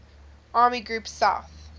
army group south